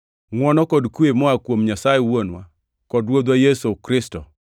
Ngʼwono kod kwe moa kuom Nyasaye Wuonwa kod Ruodhwa Yesu Kristo,